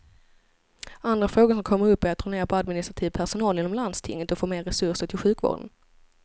Andra frågor som kommer upp är att dra ner på administrativ personal inom landstinget och få mer resurser till sjukvården.